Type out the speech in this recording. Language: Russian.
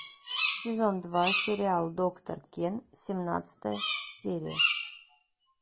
сезон два сериал доктор кен семнадцатая серия